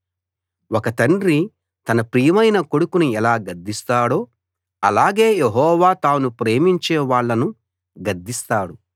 ఒక తండ్రి తన ప్రియమైన కొడుకును ఎలా గద్దిస్తాడో అలాగే యెహోవా తాను ప్రేమించే వాళ్ళను గద్దిస్తాడు